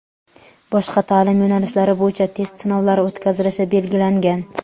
boshqa ta’lim yo‘nalishlari bo‘yicha test sinovlari o‘tkazilishi belgilangan.